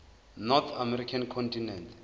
north american continent